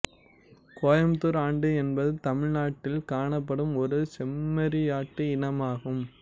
கோயம்புத்தூர் ஆடு என்பது தமிழ்நாட்டில் காணப்படும் ஒரு செம்மறியாட்டு இனமாகும்